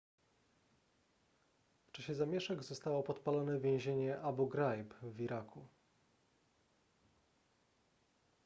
w czasie zamieszek zostało podpalone więzienie abu ghraib w iraku